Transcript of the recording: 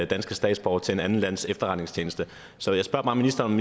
danske statsborgere til et andet lands efterretningstjeneste så jeg spørger bare ministeren